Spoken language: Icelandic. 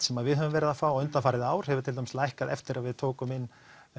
sem við höfum verið að fá undanfarið ár hefur til dæmis lækkað eftir að við tókum inn